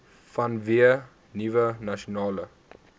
vanweë nuwe nasionale